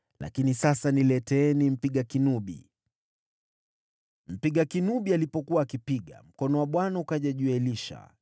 Lakini sasa, nileteeni mpiga kinubi.” Mpiga kinubi alipokuwa akipiga, mkono wa Bwana ukaja juu ya Elisha,